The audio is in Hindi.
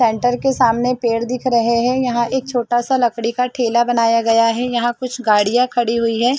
पेन्टर के सामने देख रहे हैं एक छोटा सा लकड़ी का ठेला बनाया गया है यहां कुछ गाड़ियां खड़ी हुई है।